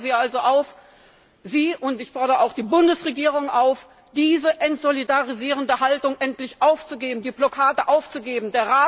Ich fordere Sie also auf und ich fordere auch die Bundesregierung auf diese entsolidarisierende Haltung endlich aufzugeben und die Blockade aufzuheben.